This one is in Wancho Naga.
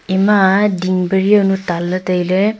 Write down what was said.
ema ding pari jawnu tan ley tai ley.